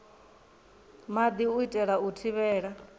maḓi u itela u thivhela